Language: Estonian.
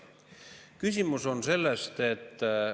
Küsimus on sellest, et …